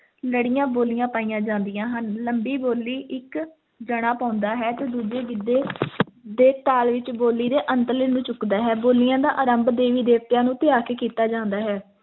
ਲੜੀਆਂ ਬੋਲੀਆਂ ਪਾਈਆਂ ਜਾਂਦੀਆਂ ਹਨ, ਲੰਬੀ ਬੋਲੀ ਇੱਕ ਜਾਣਾ ਪਾਉਂਦਾ ਹੈ ਤੇ ਦੂਜੇ ਗਿੱਧੇ ਦੇ ਤਾਲ ਵਿੱਚ ਬੋਲੀ ਦੇ ਅੰਤਲੇ ਨੂੰ ਚੁੱਕਦਾ ਹੈ ਬੋਲੀਆਂ ਦਾ ਆਰੰਭ ਦੇਵੀ ਦਵਤਿਆਂ ਨੂੰ ਧਿਆ ਕੇ ਕੀਤਾ ਜਾਂਦਾ ਹੈ,